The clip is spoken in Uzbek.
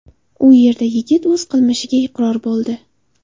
U yerda yigit o‘z qilmishiga iqror bo‘ldi.